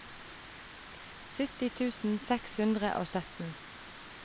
sytti tusen seks hundre og sytten